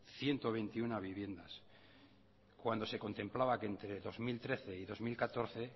ciento veintiuno viviendas cuando se contemplaba que entre dos mil trece y dos mil catorce